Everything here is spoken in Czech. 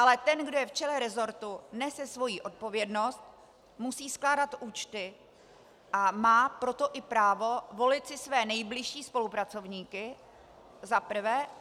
Ale ten, kdo je v čele resortu, nese svoji odpovědnost, musí skládat účty, a má proto i právo volit si své nejbližší spolupracovníky - za prvé.